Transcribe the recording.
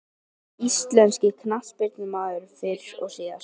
Besti íslenski knattspyrnumaðurinn fyrr og síðar?